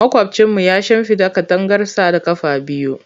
Makwabcinmu ya shimfida katangarsa da ƙafa biyu.